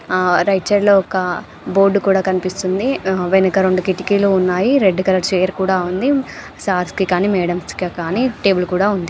ఆ right side లో ఒక బోర్డు కూడా కనిపిస్తుంది. ఆ వెనక రెండు కిటికీలు ఉన్నాయి. రెడ్ కలర్ చైర్ కూడా ఉంది. సార్స్ కి కానీ మాడమ్స్ కి కానీ టేబుల్ కూడా ఉంది.